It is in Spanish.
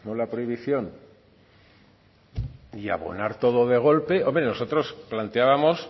la prohibición y abonar todo de golpe hombre nosotros planteábamos